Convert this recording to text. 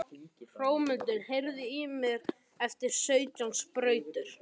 Hrómundur, heyrðu í mér eftir sautján mínútur.